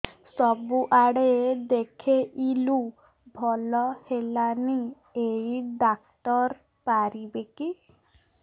ସବୁଆଡେ ଦେଖେଇଲୁ ଭଲ ହେଲାନି ଏଇ ଡ଼ାକ୍ତର ପାରିବେ କି